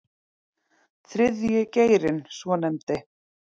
Þriðji geirinn svonefndi